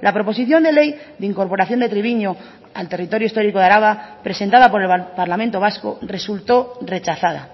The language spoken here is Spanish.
la proposición de ley de incorporación de treviño al territorio histórico de araba presentada por el parlamento vasco resultó rechazada